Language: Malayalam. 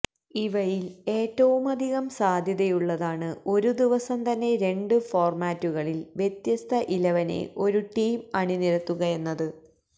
ഇവയില് ഏറ്റവുമധികം സാധ്യതയുള്ളതാണ് ഒരു ദിവസം തന്നെ രണ്ടു ഫോര്മാറ്റുകളില് വ്യത്യസ്ത ഇലവനെ ഒരു ടീം അണിനിരത്തുകയെന്നത്